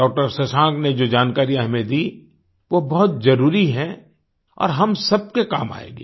doctor Shashank ने जो जानकारियाँ हमें दीं वो बहुत जरुरी हैं और हम सबके काम आएँगी